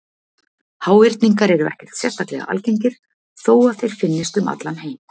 Háhyrningar eru ekkert sérstaklega algengir þó að þeir finnist um allan heim.